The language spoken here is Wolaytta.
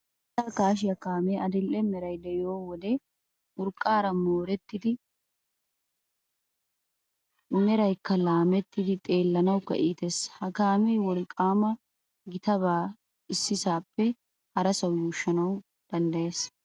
Biittaa kaashiya kaamee adidhe meray de"iyo wode urqqaara moorettidi meraykka laameettidi xeellanawukka iites. Ha kaamee wolqaama gitaba issisaappe harasawu yuushshanawu danddayees.